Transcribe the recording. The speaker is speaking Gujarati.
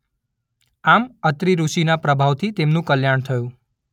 આમ અત્રિઋષિના પ્રભાવથી તેમનું કલ્યાણ થયું.